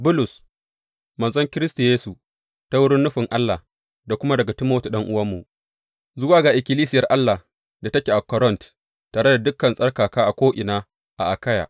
Bulus, manzon Kiristi Yesu ta wurin nufin Allah, da kuma daga Timoti ɗan’uwanmu, Zuwa ga ikkilisiyar Allah da take a Korint, tare da dukan tsarkaka a ko’ina a Akayya.